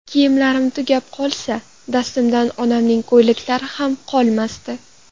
Kiyimlarim tugab qolsa, dastimdan onamning ko‘ylaklari ham qolmasdi.